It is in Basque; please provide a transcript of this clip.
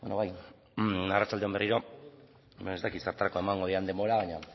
bai arratsalde on berriro ez dakit zertarako emango didan denbora baina